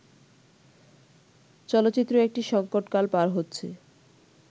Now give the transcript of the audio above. চলচ্চিত্র একটি সংকটকাল পার হচ্ছে